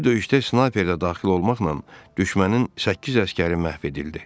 Bu döyüşdə snayper də daxil olmaqla düşmənin səkkiz əsgəri məhv edildi.